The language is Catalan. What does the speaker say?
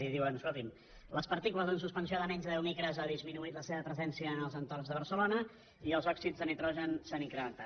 i diuen escolti’m quant a les partícules en suspensió de menys de deu micres ha disminuït la seva presència en els entorns de barcelona i els òxids de nitrogen s’han incrementat